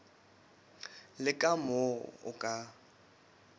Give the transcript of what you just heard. le ka moo o ka